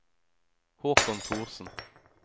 Håkon Thorsen